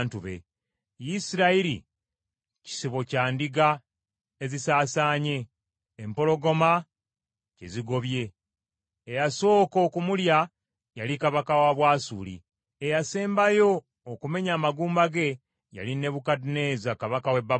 “Isirayiri kisibo kya ndiga ezisaasaanye, empologoma kye zigobye. Eyasooka okumulya yali kabaka wa Bwasuli; eyasembayo okumenya amagumba ge yali Nebukadduneeza kabaka w’e Babulooni.”